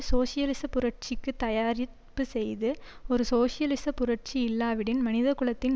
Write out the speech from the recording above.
சோசியலிச புரட்சிக்கு தயாரிப்பு செய்து ஒரு சோசியலிச புரட்சி இல்லாவிடின் மனிதகுலத்தின்